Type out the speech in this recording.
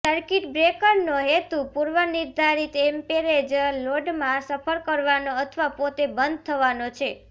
circuit બ્રેકરનો હેતુ પૂર્વનિર્ધારિત એમ્પેરેજ લોડમાં સફર કરવાનો અથવા પોતે બંધ થવાનો છે